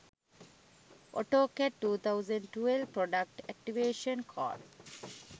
autocad 2012 product activation code